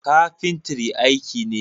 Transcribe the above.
Kafintri aiki ne.